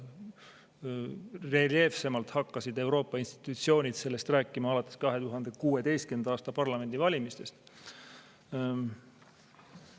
Reljeefsemalt hakkasid Euroopa institutsioonid sellest rääkima alates 2016. aasta parlamendivalimistest.